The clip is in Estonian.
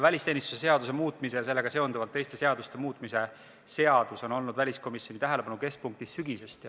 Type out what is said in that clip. Välisteenistuse seaduse muutmise ja sellega seonduvalt teiste seaduste muutmise seaduse eelnõu on olnud väliskomisjoni tähelepanu keskpunktis sügisest.